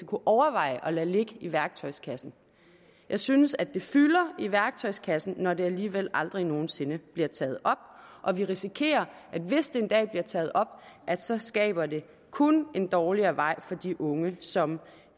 kunne overveje at lade ligge i værktøjskassen jeg synes at det fylder i værktøjskassen når det alligevel aldrig nogen sinde bliver taget op og vi risikerer at hvis det en dag bliver taget op så skaber det kun en dårligere vej for de unge som